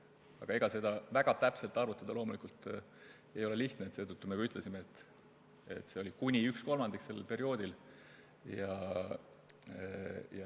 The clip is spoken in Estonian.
Aga ega seda väga täpselt arvutada loomulikult ei ole lihtne, seetõttu me ütlesimegi, et see oli kuni 1/3.